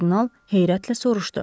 Kardinal heyrətlə soruşdu.